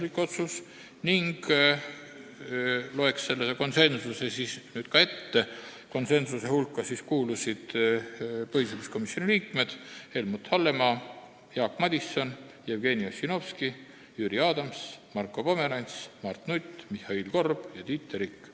Loen ette ka need konsensuslikud otsused teinud põhiseaduskomisjoni liikmete nimed: Helmut Hallemaa, Jaak Madison, Jevgeni Ossinovski, Jüri Adams, Marko Pomerants, Mart Nutt, Mihhail Korb ja Tiit Terik.